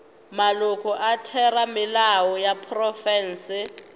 maloko a theramelao ya profense